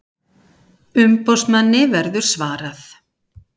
Umboðsmanni verður svarað